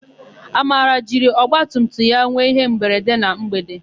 Amara jiri ọgbatumtum ya nwe ihemberede na mgbede.